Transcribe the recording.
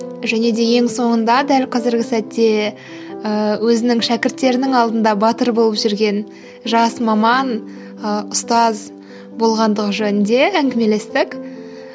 және де ең соңында дәл қазіргі сәтте ііі өзінің шәкірттерінің алдында батыр болып жүрген жас маман ыыы ұстаз болғандығы жөнінде әңгімелестік